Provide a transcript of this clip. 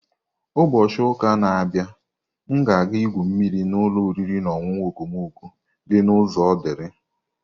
Ubochi uka na-abịa, m ga-aga igwu mmiri na ụlọ oriri na ọṅụṅụ okomoko di na uzo Odili.